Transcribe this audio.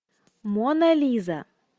мона лиза